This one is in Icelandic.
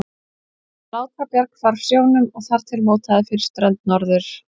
því að Látrabjarg hvarf sjónum og þar til mótaði fyrir strönd Norður-